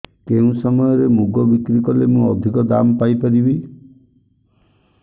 କେଉଁ ସମୟରେ ମୁଗ ବିକ୍ରି କଲେ ମୁଁ ଅଧିକ ଦାମ୍ ପାଇ ପାରିବି